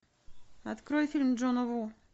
открой фильм джона ву